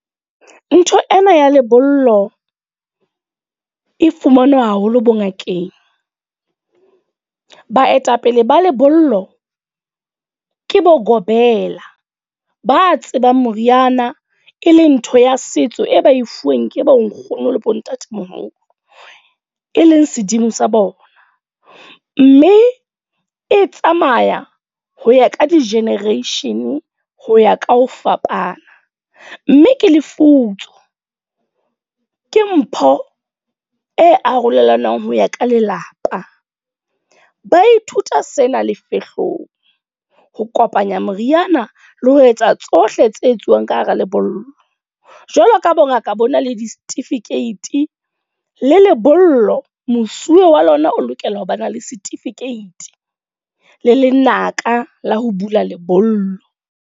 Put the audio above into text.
Ntho ena ya lebollo, e fumanwa haholo bo ngakeng. Baetapele ba lebollo, ke bo Gobela. Ba tsebang moriana, e leng ntho ya setso e ba e fuweng ke bonkgono le bontatemoholo. E leng sedimo sa bona. Mme e tsamaya ho ya ka di-generation, ho ya ka ho fapana. Mme ke lefutso, ke mpho e arolelanang ho ya ka lelapa. Ba ithuta sena lefehlong. Ho kopanya moriana, le ho etsa tsohle tse etsuwang ka hara lebollo. Jwalo ka bo ngaka bo na le di-certificate le lebollo mosuwe wa lona o lokela ho bana le certificate le lenaka la ho bula lebollo.